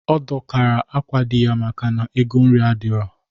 Ọ dọkara akwa di ya maka na ego nri adighọ